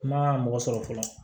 Kuma mɔgɔ sɔrɔ fɔlɔ